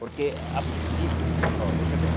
Porque, a princípio... Ó, veja bem.